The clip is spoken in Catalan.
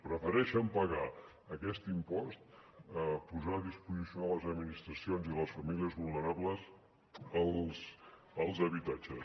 prefereixen pagar aquest impost a posar a disposició de les administracions i les famílies vulnerables els habitatges